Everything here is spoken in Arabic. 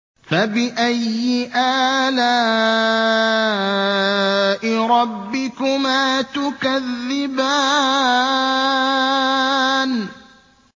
فَبِأَيِّ آلَاءِ رَبِّكُمَا تُكَذِّبَانِ